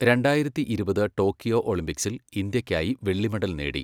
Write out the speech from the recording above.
രണ്ടായിരത്തിയിരുപത് ടോക്കിയോ ഒളിമ്പിക്സിൽ ഇന്ത്യക്കായി വെള്ളി മെഡൽ നേടി.